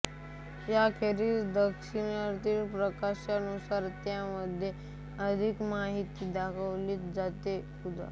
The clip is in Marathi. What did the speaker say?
याखेरीज दिनदर्शिकेच्या प्रकारानुसार त्यामध्ये अधिक माहिती दाखवली जाते उदा